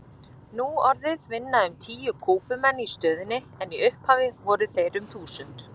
Nú orðið vinna um tíu Kúbumenn í stöðinni en í upphafi voru þeir um þúsund.